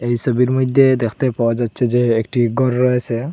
এই সবির মইধ্যে দেখতে পাওয়া যাচ্ছে যে একটি ঘর রয়েসে।